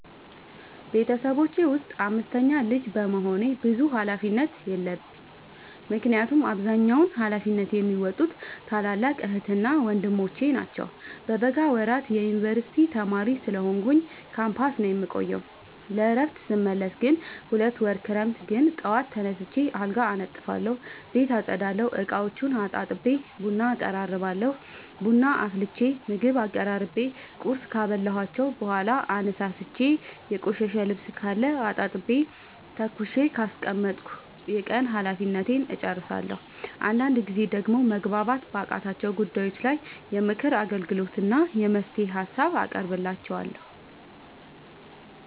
ቤተሰቦቼ ውስጥ አምስተኛ ልጅ በመሆኔ ብዙ ሀላፊነት የለብኝ ምክንያቱን አብዛኛውን ሀላፊነት የሚዎጡት ታላላቅ ዕህትና ወንድሞቼ ናቸው። በበጋ ወራት የዮንበርሲቲ ተማሪ ስለሆንኩኝ ካምፖስ ነው የምቆየው። ለእረፍት ስመለስ ግን ሁለት ወር ክረምት ግን ጠዋት ተነስቼ አልጋ አነጥፋለሁ ቤት አፀዳለሁ፤ እቃዎቹን አጣጥቤ ቡና አቀራርባለሁ ቡና አፍልቼ ምግብ አቀራርቤ ቁርስ ካበላኋቸው በኋላ አነሳስቼ። የቆሸሸ ልብስካለ አጣጥቤ ተኩሼ ካስቀመጥኩ የቀን ሀላፊነቴን እጨርሳለሁ። አንዳንድ ጊዜ ደግሞ መግባባት ባቃታቸው ጉዳይ ላይ የምክር አገልግሎት እና የመፍትሄ ሀሳብ አቀርብላቸዋለሁ።